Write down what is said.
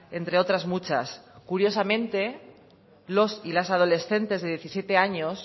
entre otras muchas curiosamente los y las adolescentes de diecisiete años